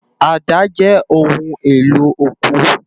Àdá jè óoún éló ókó